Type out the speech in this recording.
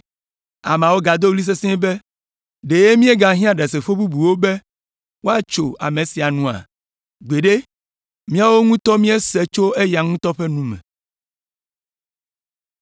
Ameawo gado ɣli sesĩe be, “Ɖe míegahiã ɖasefo bubuwo be woatso ame sia nua? Gbeɖe! Míawo ŋutɔ míesee tso eya ŋutɔ ƒe nu me!”